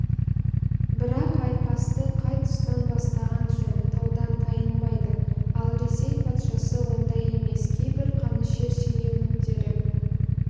бірақ айқасты қай тұстан бастаған жөн таудан тайынбайды ал ресей патшасы ондай емес кейбір қанішер шенеуніктері